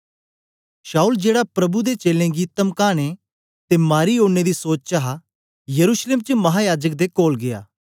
शाऊल जेड़ा प्रभु दे चेलें गी तमकाने ते मारी ओड़ने दी सोच च हा यरूशलेम च महायाजक दे कोल गीया